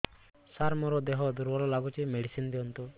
ସାର ମୋର ଦେହ ଦୁର୍ବଳ ଲାଗୁଚି ମେଡିସିନ ଦିଅନ୍ତୁ